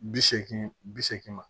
Bi seegin bi seegin ma